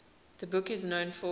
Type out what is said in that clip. the book is known for